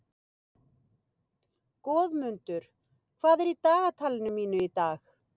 Goðmundur, hvað er í dagatalinu mínu í dag?